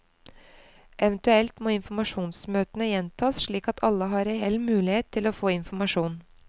Eventuelt må informasjonsmøtene gjentas slik at alle har reell mulighet til å få informasjon.